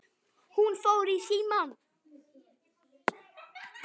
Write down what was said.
Hún fór í símann.